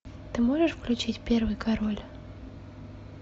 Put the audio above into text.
ты можешь включить первый король